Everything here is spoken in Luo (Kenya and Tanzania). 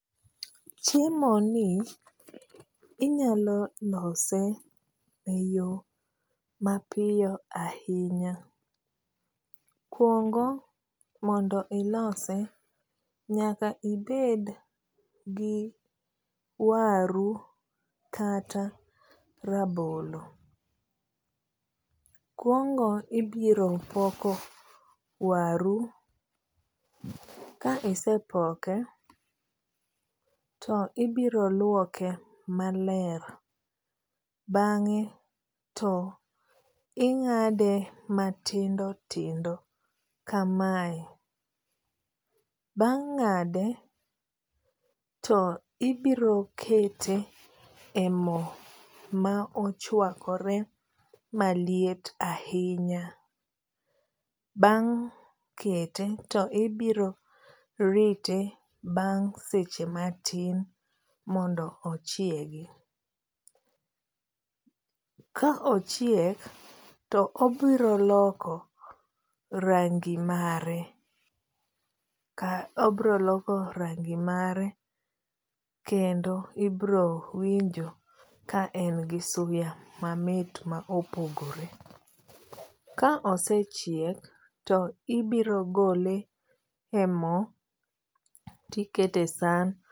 Chiemoni inyalo lose eyo mapiyo ahinya. Mokuongo mondo ilose nyaka ibed gi waru kata rabolo, kuongo ibiro poko waru, ka isepoke to ibiro luoke maler bang'e to ing'ade matindo tindo kamae. Bang' ng'ade to ibiro kete e mo mochuakre maliet ahinya. Bang' kete to ibiro rite bang' seche matin mondo ochiegi. Ka ochiek to obiro loko rangi mare ka obiro loko rangi mar ekendo ibiro winjo ka en gi suya mamit ma opogore. Ka osechiek to ibiro gole e mo to ikete e san